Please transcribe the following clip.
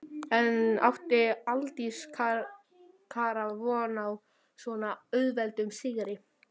En átti Aldís Kara von á svo auðveldum sigri?